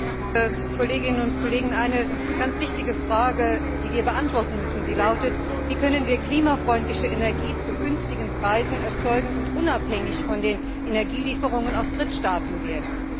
Herr Präsident, liebe Kolleginnen und Kollegen! Eine ganz wichtige Frage, die wir beantworten müssen, lautet Wie können wir klimafreundliche Energie zu günstigen Preisen erzeugen und unabhängig von Energielieferungen aus Drittstaaten werden.